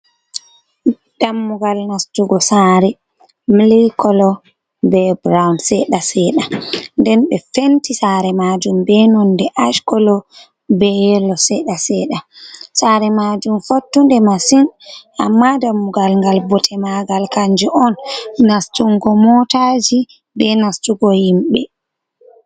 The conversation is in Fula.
Dammugal nastugo saare milikolo be burawun seɗa seɗa. Nden be fenti saare maajum be nonde askolo, be yelo seɗa seɗa. Saare maajum fottude masin ammaa dammugal ngal, bote maagal kanjum on nastugo mootaaji be nastugo himɓe.